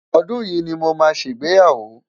ọdún yí ní mọ má sé ìgbéyàwó